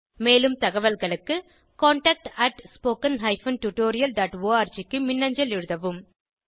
மேலும் தகவல்களுக்கு contactspoken tutorialorg க்கு மின்னஞ்சல் எழுதவும்